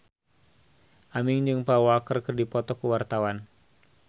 Aming jeung Paul Walker keur dipoto ku wartawan